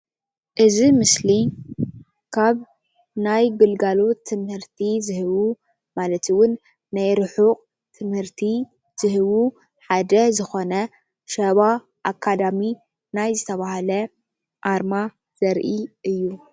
እዚ ምስሊ ካብ ናይ ግልጋሎት ትምህርቲ ዝህቡ ማለት እውን ናይ ርሕቅት ትምህርቲ ዝህቡ ሓደ ዝኮነ ሸባ አካዳሚ ናይ ዝተባሃለ ኣርማ ዘርኢ እዩ፡፡